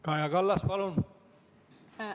Kaja Kallas, palun!